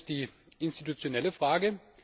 Die eine ist die institutionelle Frage.